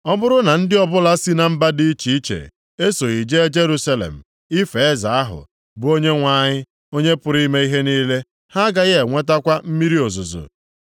Ọ bụrụ na ndị ọbụla si na mba dị iche iche esoghị jee Jerusalem ife Eze ahụ, bụ Onyenwe anyị, Onye pụrụ ime ihe niile, ha agaghị enwetakwa mmiri ozuzo.